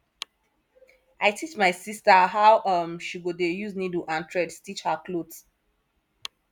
i teach my sista how um she go dey use niddle and thread stitch her clothe